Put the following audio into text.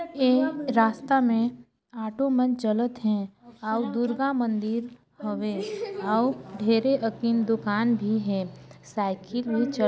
ए रास्ता में आटो मन चलत हे और दुर्गा मंदिर हवे और ढेरे अकिन दूकान भी हे साइकिल भी चल--